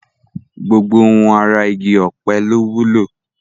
Gbogbo ohun ara igi ọ̀pẹ ló wúlò